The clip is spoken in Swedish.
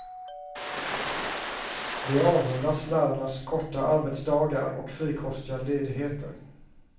De avundas lärarnas korta arbetsdagar och frikostiga ledigheter.